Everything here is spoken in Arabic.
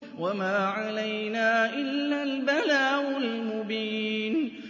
وَمَا عَلَيْنَا إِلَّا الْبَلَاغُ الْمُبِينُ